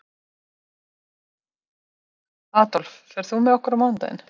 Aðólf, ferð þú með okkur á mánudaginn?